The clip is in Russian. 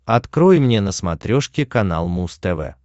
открой мне на смотрешке канал муз тв